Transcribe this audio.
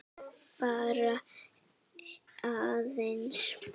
Bara aðeins.